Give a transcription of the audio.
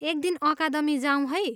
एक दिन अकादमी जाऊँ है!